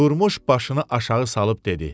Durmuş başını aşağı salıb dedi: